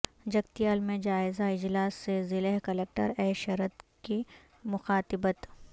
جگتیال میں جائزہ اجلاس سے ضلع کلکٹر اے شرت کی مخاطبت